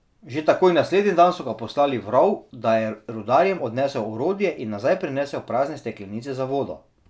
Že takoj naslednji dan so ga poslali v rov, da je rudarjem odnesel orodje in nazaj prinesel prazne steklenice za vodo.